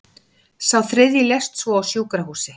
Sá þriðji lést svo á sjúkrahúsi